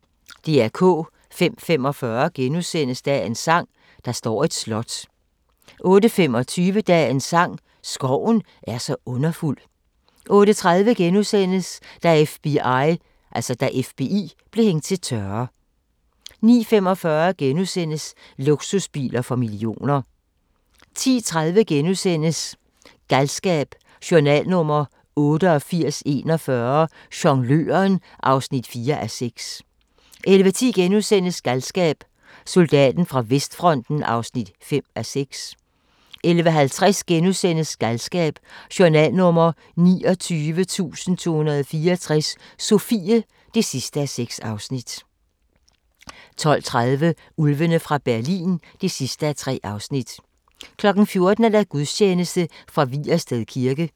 05:45: Dagens sang: Der står et slot * 08:25: Dagens sang: Skoven er så underfuld 08:30: Da FBI blev hængt til tørre * 09:45: Luksusbiler for millioner * 10:30: Galskab: Journal nr. 8841 - Jongløren (4:6)* 11:10: Galskab: Soldaten fra vestfronten (5:6)* 11:50: Galskab: Journal nr. 29.264 – Sofie (6:6)* 12:30: Ulvene fra Berlin (3:3) 14:00: Gudstjeneste fra Vigersted Kirke